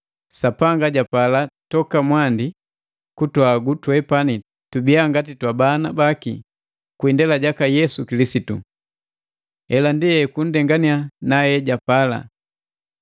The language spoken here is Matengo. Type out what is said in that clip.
Sapanga japala toka mwandi kutuhagu twepani tubiya ngati twabana baki kwi indela jaka Yesu Kilisitu. Hela ndi ekunndengannya na ejapala.